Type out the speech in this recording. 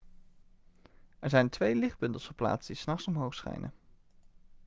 er zijn twee lichtbundels geplaatst die s nachts omhoog schijnen